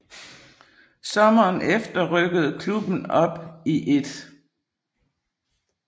Sommeren efter rykkede klubben op i 1